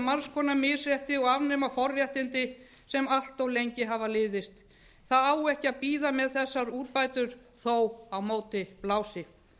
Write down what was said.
margs konar misrétti og afnema forréttindi sem allt of lengi hafa liðist það á ekki að bíða með þessar úrbætur þótt á móti blási